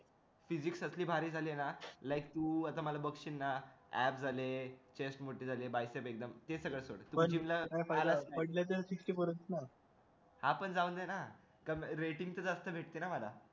ती जी असली भारी झालेय ना like तू असं मला बघशील ना like app झाले ते सगळं आपण जाऊन आहे ना rating तर जास्त भेटते ना मला